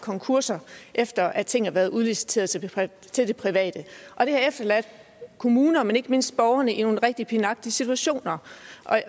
konkurser efter at ting har været udliciteret til det private og det har efterladt kommuner men ikke mindst borgerne i nogle rigtig pinagtige situationer